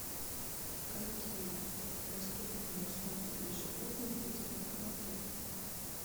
какие доступные услуги для животных есть в этом отеле